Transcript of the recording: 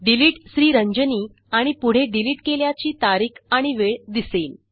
deleted Sriranjani आणि पुढे delete केल्याची तारीख आणि वेळ दिसेल